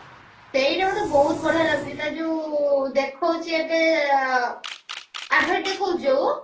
ସେଇଟା ମତେ ବହୁତ ବଢିଆ ଲାଗୁଛି ତାର ଯଉ ଦେଖଉଛି ଏବେ advertise ଦେଖଉଛି ଯଉ